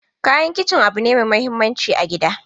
Kayan kicin abu ne mai muhimmanci a gida.